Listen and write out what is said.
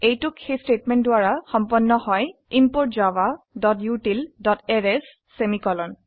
এইটোক এই স্টেটমেন্ট দ্বাৰা সম্পন্ন হয় ইম্পোৰ্ট javautilএৰেইছ সেমিকোলন